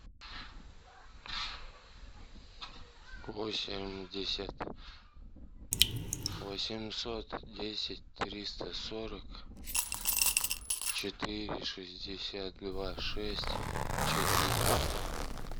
восемьдесят восемьсот десять триста сорок четыре шестьдесят два шесть четыре